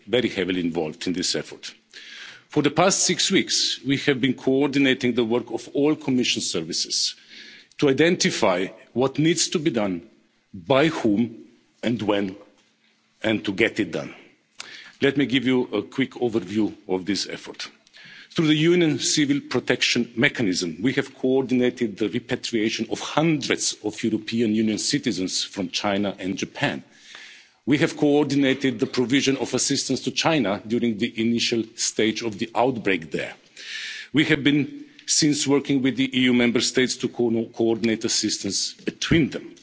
heavily involved in this effort. For the past six weeks, we have been coordinating the work of all Commission services to identify what needs to be done, by whom and when, and get it done. Let me give you a quick overview of this effort. Through the Union Civil Protection Mechanism, we have coordinated the repatriation of hundreds of European Union citizens from China and Japan. We have coordinated the provision of assistance to China during the initial stage of the outbreak there. Since then, we have been working with the EU Member States to coordinate assistance between